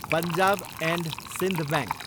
Punjab and Sindh bank